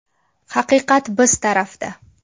Haqiqat biz tarafda.